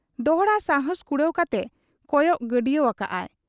ᱫᱚᱦᱲᱟ ᱥᱟᱦᱟᱸᱥ ᱠᱩᱲᱟᱹᱣ ᱠᱟᱛᱮ ᱠᱚᱭᱚᱜ ᱜᱟᱹᱰᱭᱟᱹᱣ ᱟᱠᱟᱜ ᱟᱭ ᱾